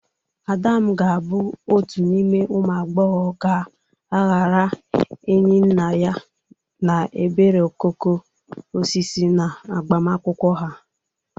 Adam ga-abụ otu n'ime ụmụ agbọghọ ga-aghara Enyinnaya na Ebere okoko osisi n'agbamakwụkwọ ha.